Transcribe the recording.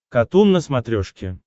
катун на смотрешке